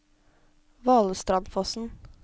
Valestrandsfossen